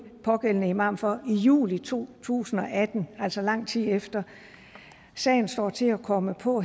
pågældende imam for i juli to tusind og atten altså lang tid efter sagen står til at komme på